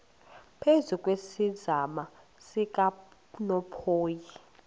phezu kwesiziba sikanophoyi